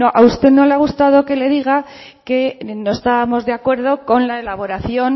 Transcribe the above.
a usted no le ha gustado que le diga que no estábamos de acuerdo con la elaboración